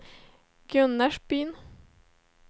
Gunnarsbyn